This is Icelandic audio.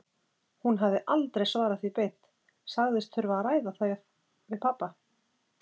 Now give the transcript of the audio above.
Hún hafði aldrei svarað því beint, sagðist þurfa að ræða það við pabba.